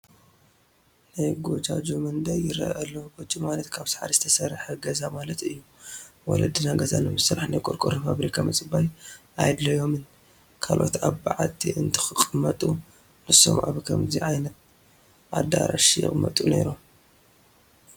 ናይ ጐጃጁ መንደር ይርአ ኣሎ፡፡ ጐጆ ማለት ካብ ሳዕሪ ዝተሰርሐ ገዛ ማለት እዩ፡፡ ወለድና ገዛ ንምስራሕ ናይ ቆርቆሮ ፋብሪካ ምፅባይ ኣየድለዮምን፡፡ ካልኦት ኣብ በዓቲ እንትቕመጡ ንሶም ኣብ ከምዚ ዓይነት ኣዳራሽ ይቕመጡ ነይሮም፡፡